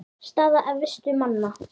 Staða efstu manna